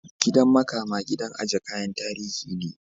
Gidan makama gidan aje kayan tarihi ne.